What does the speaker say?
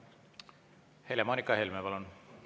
Helle-Moonika Helme, palun!